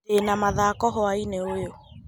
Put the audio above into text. Ndĩ na mathako hwaĩĩni ũyũ.